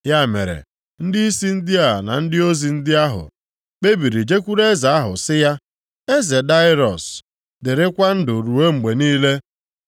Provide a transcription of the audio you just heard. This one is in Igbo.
Ya mere, ndịisi ndị a na ndị ozi ndị ahụ kpebiri jekwuru eze ahụ sị ya, “Eze Daraiọs, dịrịkwa ndụ ruo mgbe niile!